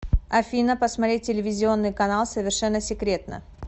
афина посмотреть телевизионный канал совершенно секретно